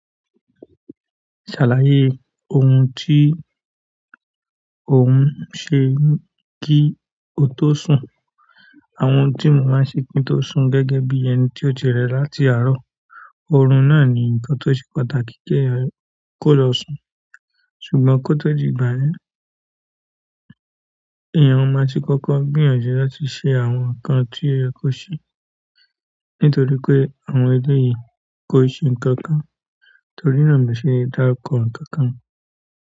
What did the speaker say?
Ṣàlàyé ohun tí ò ń sẹ kí o tó sùn. Àwọn ohun tí mo máa ń ṣe kí n tó sùn gẹ́gẹ́ bí ẹni tó ti rẹ̀ láti àárọ̀. Ọ̀rùn náà ni ǹkan tó ṣe pàtàkì kí ẹ̀yàn kó lọ sùn. Ṣùgbọ́n ko to di ìgbà yen, eyan maa ti koko gbìyànjú láti se àwọn nkan to ye ki o se. Nítorí pé àwọn èlè yìí kò ṣe ǹkan kan, torí náà mi ò ṣe dáa kọ ǹkan kan.